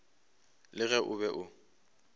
le ge o be o